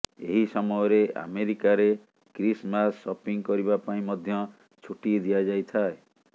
ଏହି ସମୟରେ ଆମେରିକାରେ କ୍ରିସମାସ ସପିଙ୍ଗ କରିବା ପାଇଁ ମଧ୍ୟ ଛୁଟି ଦିଆଯାଇଥାଏ